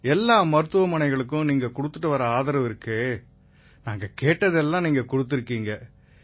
எல்லா மருத்துவமனைகளுக்கும் நீங்க கொடுத்து வர்ற ஆதரவு இருக்கே நாங்க கேட்டதை எல்லாம் கொடுத்திருக்கீங்க